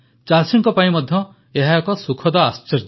ଚାଷୀଙ୍କ ପାଇଁ ମଧ୍ୟ ଏହା ଏକ ସୁଖଦ ଆଶ୍ଚର୍ଯ୍ୟ